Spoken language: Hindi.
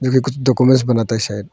कुछ डाक्यूमेंट्स बनाता है शायद।